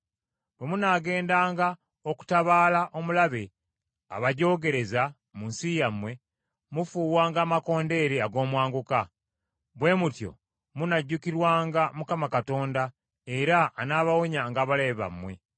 Bwe munaagendanga okutabaala omulabe abajoogerereza mu nsi yammwe, mufuuwanga amakondeere ag’omwanguka. Bwe mutyo munajjukirwanga Mukama Katonda, era anaabawonyanga abalabe bammwe.